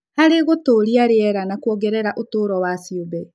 Harĩ gũtũũria rĩera na kuongerera ũtũũro wa ciũmbe.